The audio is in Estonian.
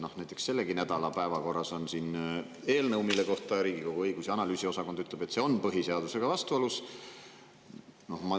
Näiteks sellegi nädala päevakorras on eelnõu, mille kohta Riigikogu õigus‑ ja analüüsiosakond ütleb, et see on põhiseadusega vastuolus.